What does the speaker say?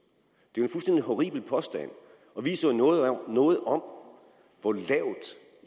at horribel påstand og viser jo noget om hvor lavt